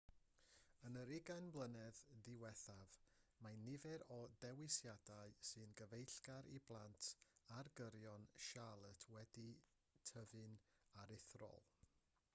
yn yr 20 mlynedd diwethaf mae nifer y dewisiadau sy'n gyfeillgar i blant ar gyrion charlotte wedi tyfu'n aruthrol